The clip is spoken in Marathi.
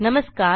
नमस्कार